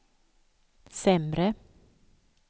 sämre